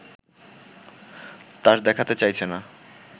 তাস দেখাতে চাইছে না